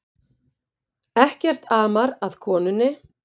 Ekkert amar að konunni